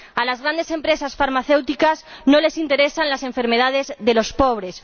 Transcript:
A las grandes empresas farmacéuticas no les interesan las enfermedades de los pobres.